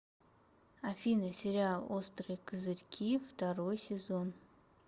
афина сериал острые козырьки второй сезон